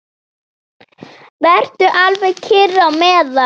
Vertu alveg kyrr á meðan.